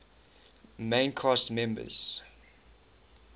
main cast members